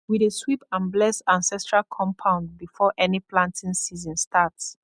we dey sweep and bless ancestral compound before any planting season start